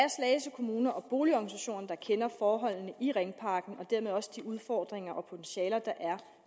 kommune og boligorganisationerne der kender forholdene i ringparken og dermed også de udfordringer og potentialer der